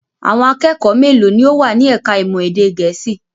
Àwọn akẹ́kọ̀ọ́ mélòó ni ó wà ní ẹ̀ka-ìmọ̀ èdè Gẹ̀ẹ́sì?